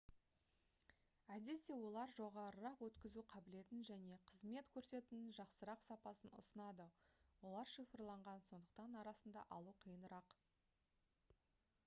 әдетте олар жоғарырақ өткізу қабілетін және қызмет көрсетудің жақсырақ сапасын ұсынады олар шифрланған сондықтан арасында алу қиынырақ